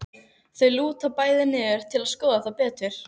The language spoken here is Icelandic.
Þau lúta bæði niður til að skoða það betur.